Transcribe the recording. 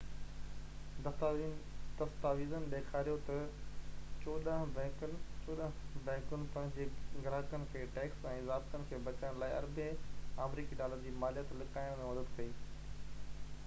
دستاويزن ڏيکاريو تہ چوڏانهن بئنڪن پنهنجي گراهڪن کي ٽيڪس ۽ ضابطن کان بچڻ لاءِ اربين آمريڪي ڊالر جي ماليت لڪائڻ ۾ مدد ڪئي